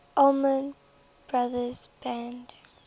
allman brothers band